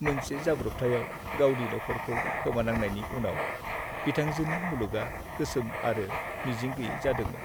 मोनसे जाब्रबथायआव गावनि नख'रखौ खोमानांनायनि उनाव बिथांजोनि मुलुगआ गोसोम आरो मिजिं गैयै जादोंमोन।